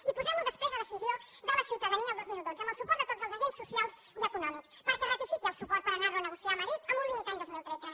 i posem ho després a decisió de la ciutadania el dos mil dotze amb el suport de tots els agents socials i econòmics perquè es ratifiqui el suport per anar lo a negociar a madrid amb un límit any dos mil tretze